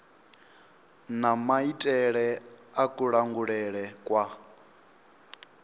na maitele a kulangulele kwa